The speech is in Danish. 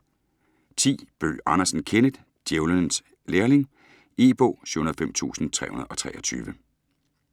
Bøgh Andersen, Kenneth: Djævelens lærling E-bog 705323